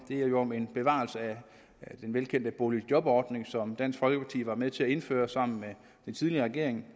det er jo om en bevarelse af den velkendte boligjobordning som dansk folkeparti var med til at indføre sammen med den tidligere regering